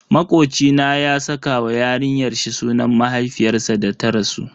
Makoci na ya saka wa yarinyar shi sunan mahaifiyarsa da ta rasu.